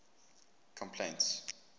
complaints